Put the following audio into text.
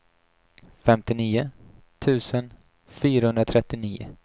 femtionio tusen fyrahundratrettionio